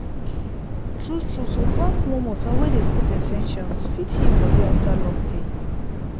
true true to baff warm water wey dem put essentials fit heal body after long day.